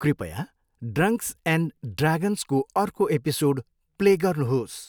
कृपया drunks and ड्रागन्सको अर्को एपिसोड प्ले गर्नुहोस्।